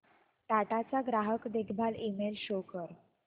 टाटा चा ग्राहक देखभाल ईमेल शो कर